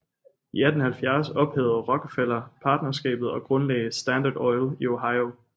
I 1870 ophævede Rockefeller partnerskabet og grundlagde Standard Oil i Ohio